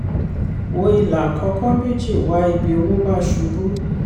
wò ìlà àkọ́kọ́ méjì wá ibi owó bá ṣubú.